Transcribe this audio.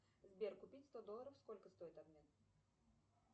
сбер купить сто долларов сколько стоит обмен